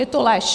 Je to lež!